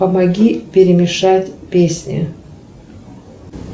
помоги перемешать песни